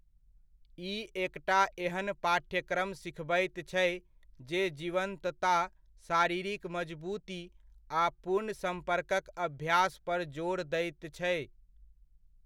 ई एकटा एहन पाठ्यक्रम सिखबैत छै, जे जीवन्तता, शारीरिक मजबूती आ पूर्ण सम्पर्कक अभ्यास पर जोर दैत छै।